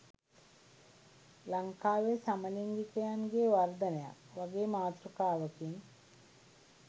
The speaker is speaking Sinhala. "ලංකාවේ සමලිංගිකයන්ගේ වර්ධනයක්" වගේ මාතෘකාවකින්.